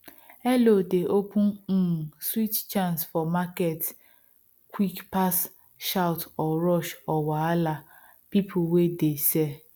hello dey open um sweet chance for market quick pass shout or rush or wahala people wey de sell